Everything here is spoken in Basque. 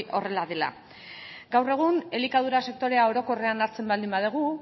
horrela dela gaur egun elikadura sektorea orokorrean hartzen baldin badugu